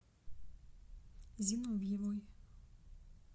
зиновьевой